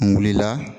N wulila